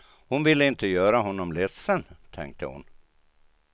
Hon ville inte göra honom ledsen, tänkte hon.